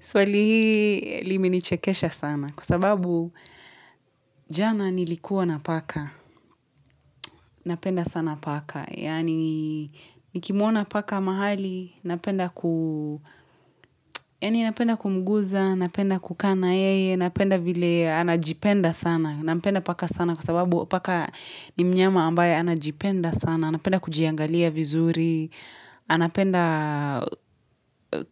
Swali hii limenichekesha sana. Kwa sababu jana nilikuwa napaka. Napenda sana paka. Yaani nikimuona paka mahali napenda ku Napenda kumguza. Napenda kukaa na yeye. Napenda vile anajipenda sana. Nampenda paka sana kwa sababu paka ni mnyama ambaye anajipenda sana. Anapenda kujiangalia vizuri, anapenda